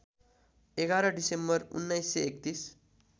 ११ December १९३१